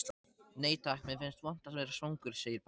Nei takk, mér finnst vont að vera svangur, segir Palli.